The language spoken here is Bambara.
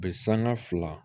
Be sanga fila